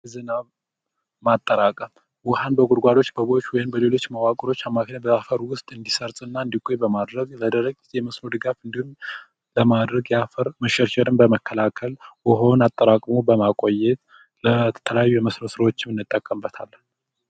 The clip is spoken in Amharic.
ዝናብ ማጠራቀም ውሃን በጉድጓዶች በኩሬዎች ወይም በሌሎች ነገሮች በማጠራቀም በአፈር ውስጥ እንዲሰርፅ በማድረግ የመስኖ ድጋፍ የአፈር መሸርሸርን በመከላከል ውሃ አጠራቅሞ በማቆየት ለተለያዩ የመስኖ ስራዎች እንጠቀምበታለን።